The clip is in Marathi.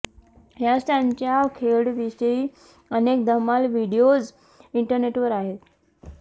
याच त्यांच्या खेळाविषयी अनेक धम्माल व्हिडीओज इंटरनेटवर आहेत